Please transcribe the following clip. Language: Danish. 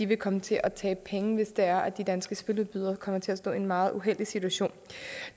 vil komme til at tabe penge hvis det er at de danske spiludbydere kommer til at stå i en meget uheldig situation